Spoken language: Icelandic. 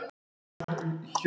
Það stefnir allt í framlengingu